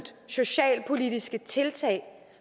socialpolitiske tiltag